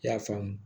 I y'a faamu